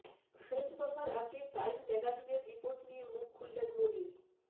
শেষ দফার আগে টাইম ম্যাগাজিনের রিপোর্ট নিয়ে মুখ খুললেন মোদি